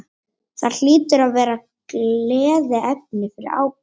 Það hlýtur að vera gleðiefni fyrir Ágúst?